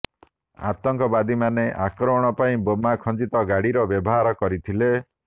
ଆତଙ୍କବାଦୀମାନେ ଆକ୍ରମଣ ପାଇଁ ବୋମା ଖଞ୍ଜିତ ଗାଡ଼ିର ବ୍ୟବହାର କରିଥିଲେ